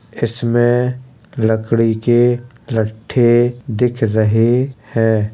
इसमें लकड़ी के लट्ठे दिख रहे हैं।